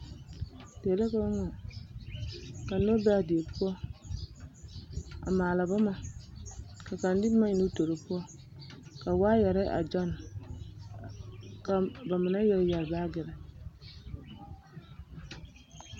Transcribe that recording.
Die la ka ba ŋmaa ka noba be a die poɔ a maala boma ka kaŋa de boma ennɛ o toori poɔ ka waayɛre a gyɔnne ka ba mine yɛre yɛre baagiri.